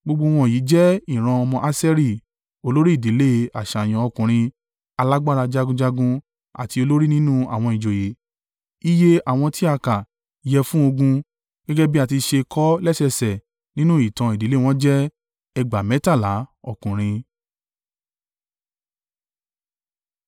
Gbogbo wọ̀nyí jẹ́ ìran ọmọ Aṣeri—olórí ìdílé, àṣàyàn ọkùnrin, alágbára jagunjagun àti olórí nínú àwọn ìjòyè. Iye àwọn tí a kà yẹ fún ogun, gẹ́gẹ́ bí à ti ṣe kọ ọ́ lẹ́sẹẹsẹ nínú ìtàn ìdílé wọn jẹ́ ẹgbàá mẹ́tàlá (26,000) ọkùnrin.